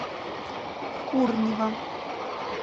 курнева